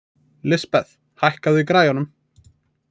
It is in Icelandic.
Lisbeth, lækkaðu í græjunum.